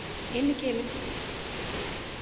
Inn í gilið!